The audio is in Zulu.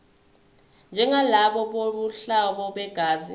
njengalabo bobuhlobo begazi